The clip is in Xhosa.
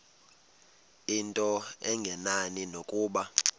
into engenani nokuba